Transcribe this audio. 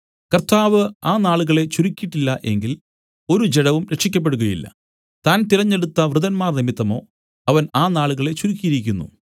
കർത്താവ് ആ നാളുകളെ ചുരുക്കീട്ടില്ല എങ്കിൽ ഒരു ജഡവും രക്ഷിയ്ക്കപ്പെടുകയില്ല താൻ തിരഞ്ഞെടുത്ത വൃതന്മാർനിമിത്തമോ അവൻ ആ നാളുകളെ ചുരുക്കിയിരിക്കുന്നു